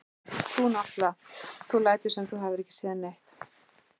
Þú náttúrlega. þú lætur sem þú hafir ekki séð neitt!